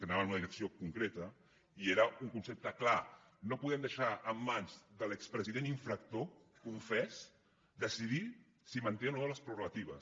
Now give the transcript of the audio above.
que anaven en una direcció concreta i era un concepte clar no podem deixar en mans de l’expresident infractor confés decidir si en manté o no les prerrogatives